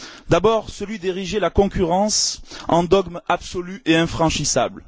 D'abord, celui d'ériger la concurrence en dogme absolu et infranchissable.